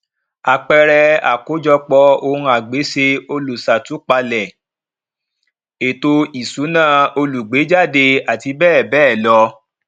àpẹẹrẹ àkójọpọ ohunagbéṣe olùṣàtúpalẹ ètò ìṣúná olùgbéejáde àti bẹẹ bẹẹ lọ